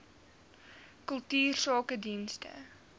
kultuursakedienste